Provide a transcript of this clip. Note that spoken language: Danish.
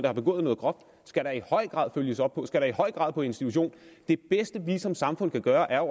har begået noget groft skal der i høj grad følges op på og skal da i høj grad på institution det bedste vi som samfund kan gøre er